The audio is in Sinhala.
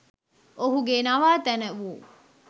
ඔහුගේ නවාතැන වූ